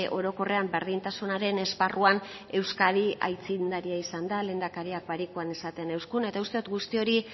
orokorrean berdintasunaren esparruan euskadi aitzindaria izan da lehendakariak barikuan esaten euskun eta uste dut guzti hori